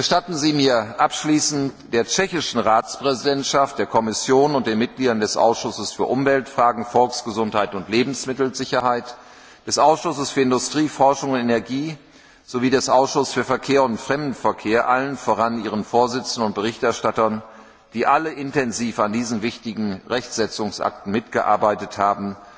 Gestatten Sie mir abschließend, der tschechischen Ratspräsidentschaft, der Kommission und den Mitgliedern des Ausschusses für Umweltfragen, Volksgesundheit und Lebensmittelsicherheit, des Ausschusses für Industrie, Forschung und Energie sowie des Ausschusses für Verkehr und Fremdenverkehr, allen voran ihren Vorsitzenden und Berichterstattern, die alle intensiv an diesen wichtigen Rechtsetzungsakten mitgearbeitet haben,